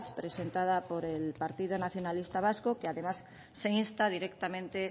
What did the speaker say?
presentada por el partido nacionalista vasco que además se insta directamente